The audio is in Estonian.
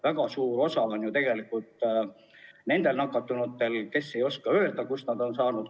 Väga suur osa on ju tegelikult nendel nakatunutel, kes ei oska öelda, kust nad on nakkuse saanud.